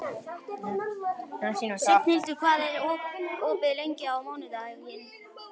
Signhildur, hvað er opið lengi á mánudaginn?